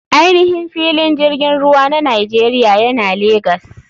Ainihin filin jirgin ruwa na nigeria yana legas.